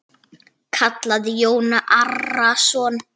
kallaði Jón Arason.